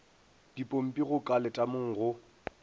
dipompi go ka letamong go